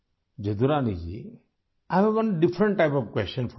Jadurani ji, I have different type of question for you